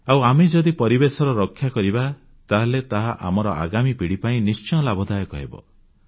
ଆଉ ଆମେ ଯଦି ପରିବେଶର ରକ୍ଷା କରିବା ତାହେଲେ ତାହା ଆମର ଆଗାମୀ ପିଢ଼ି ପାଇଁ ନିଶ୍ଚୟ ଲାଭଦାୟକ ହେବ